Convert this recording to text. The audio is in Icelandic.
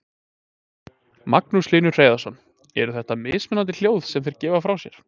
Magnús Hlynur Hreiðarsson: Eru þetta mismunandi hljóð sem þeir gefa frá sér?